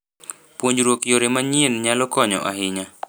Puonjruok yore manyien nyalo konyo ahinya.